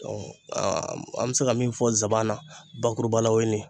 an bɛ se ka min fɔ zanbana, bakurubala w o ye nin ye